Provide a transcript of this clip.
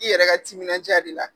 I yɛrɛ ka timinan diya de la